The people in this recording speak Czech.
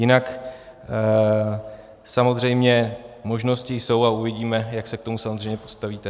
Jinak samozřejmě možnosti jsou a uvidíme, jak se k tomu samozřejmě postavíte.